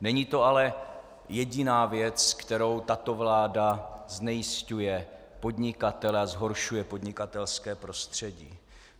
Není to ale jediná věc, kterou tato vláda znejisťuje podnikatele a zhoršuje podnikatelské prostředí.